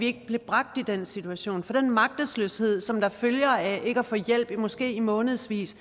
ikke bliver bragt i den situation for den magtesløshed som følger af ikke at få hjælp i måske månedsvis